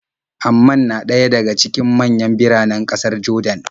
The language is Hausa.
Amman na ɗaya daga cikin manyan biranen ƙasar Jordan.